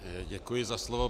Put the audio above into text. Děkuji za slovo.